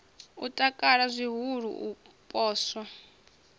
o takala zwihulu u poswa